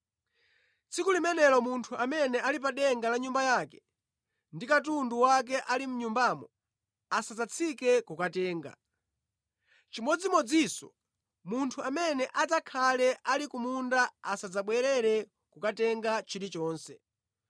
Tsiku limenelo munthu amene ali pa denga la nyumba yake, ndi katundu wake ali mʼnyumbamo, asadzatsike kukatenga. Chimodzimodzinso, munthu amene adzakhale ali ku munda asadzabwerere kukatenga chilichonse.